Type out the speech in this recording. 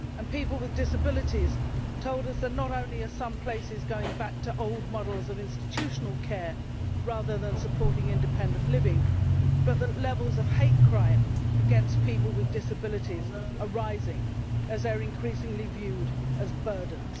People with disabilities told us that not only are some places going back to old models of institutional care rather than supporting independent living, but the levels of hate crime against people with disabilities are rising as they are increasingly viewed as burdens.